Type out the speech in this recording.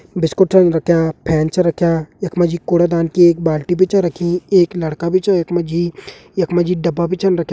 बिस्कुट छन रख्यां फैन छ रख्यां। यख मजी कूड़ादान की एक बाल्टी बि च रखीं । एक लड़का बि छ यख मजी। यख मजी डब्बा बि छन रख्यां।